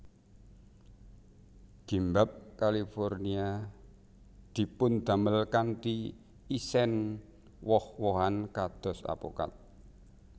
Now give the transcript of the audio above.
Gimbap California dipundamel kanthi isèn woh wohan kados apokat